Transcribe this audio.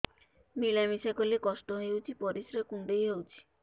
ମିଳା ମିଶା କଲେ କଷ୍ଟ ହେଉଚି ପରିସ୍ରା କୁଣ୍ଡେଇ ହଉଚି